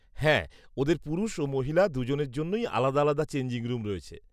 হ্যাঁ, ওদের পুরুষ ও মহিলা দুজনের জন্যই আলাদা আলাদা চেঞ্জিং রুম রয়েছে।